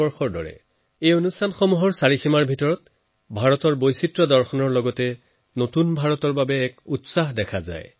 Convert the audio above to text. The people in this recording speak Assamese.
এফালে যেনেকৈ এই চৌহদসমূহত ভাৰতৰ বৈচিত্ৰতা পৰিলক্ষিত হয় তেনদৰে নতুন ভাৰত গঢ়াৰ বাবে গুৰুত্বপূৰ্ণ পৰিৱৰ্তন অনাৰো ইচ্ছা দেখা যায়